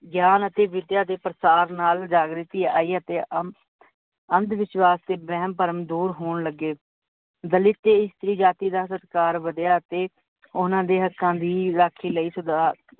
ਗਿਆਨ ਅਤੇ ਵਿੱਦਿਆ ਦੇ ਪ੍ਰਸਾਰ ਨਾਲ ਜਾਗ੍ਰਿਤੀ ਆਈ, ਅਤੇ ਅੰਧਵਿਸ਼ਵਾਸ਼ ਤੇ ਬਹਿਮ ਭਰਮ ਦੁਰ ਹੋਣ ਲੱਗੇ, ਦਲਿਤ ਅਤੇ ਇਸਤਰੀ ਜਾਤੀ ਦਾ ਸਤਿਕਾਰ ਵਧਿਆ, ਤੇ ਓਹਨਾਂ ਦੇ ਹੱਕਾਂ ਦੀ ਰੱਖੀ ਲਈ